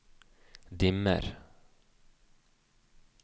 dimmer